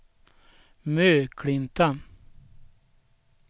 Möklinta